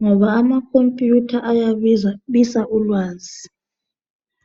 ngoba amakhompiyutha ayabisa ulwazi.